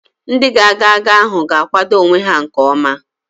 Ndị ga-aga agha ahụ ga-akwado onwe ha nke ọma